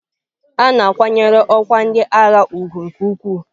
A na-akwanyere ọkwa ndị agha ugwu nke ukwuu.